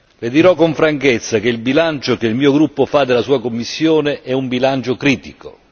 Le dirò con franchezza che il bilancio che il mio gruppo fa della sua Commissione è un bilancio critico.